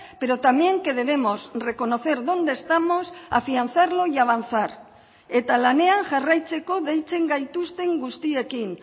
pero también que debemos reconocer dónde estamos afianzarlo y avanzar eta lanean jarraitzeko deitzen gaituzten guztiekin